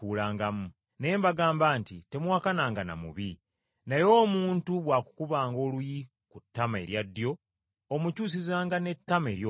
Naye mbagamba nti, Temuwakananga na mubi, naye omuntu bw’akukubanga oluyi ku ttama erya ddyo omukyusizanga n’ettama eryokubiri.